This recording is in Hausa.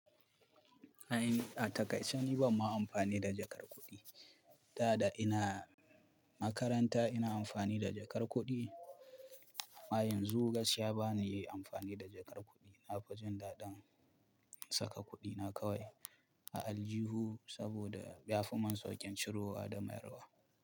A takaisar ni banma amfani da jakar kuɗi. Da da ina makaranta ina amfani da jakar kuɗi amma yanzu gaskiya bana yi amfani da jakar kuɗi. Na fi jin daɗin saka kuɗina kawai a aljihun saboda ya fi mun sauƙin ciro wa da mayar wa.